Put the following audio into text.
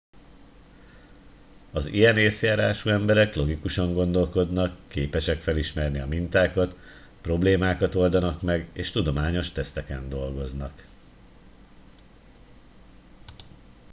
az ilyen észjárású emberek logikusan gondolkodnak képesek felismerni a mintákat problémákat oldanak meg és tudományos teszteken dolgoznak